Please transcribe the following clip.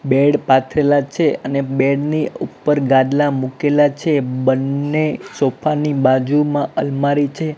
Bed પાથરેલા છે અને બેડ ની ઉપર ગાદલા મુકેલા છે બન્ને સોફા ની બાજુમાં અલમારી છે.